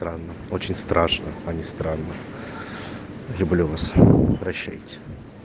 странно очень страшно а не странно люблю вас прощайте